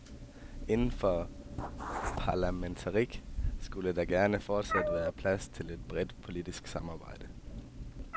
Inden for parlamentarisme skulle der da gerne fortsat være plads til et bredt politisk samarbejde.